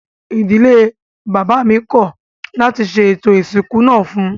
Ìdílé bàbá mi kọ̀ láti ṣe ètò ìsìnkú náà fún un